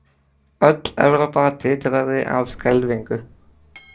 Öll Evrópa titraði af skelfingu.